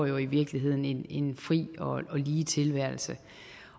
i virkeligheden lever en fri og lige tilværelse